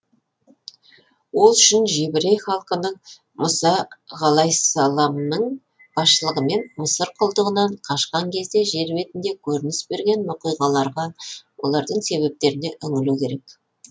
ол үшін жебірей халқының мұса ғалайссаламның басшылығымен мысыр құлдығынан қашқан кезде жер бетінде көрініс берген оқиғаларға олардың себептеріне үңілу керек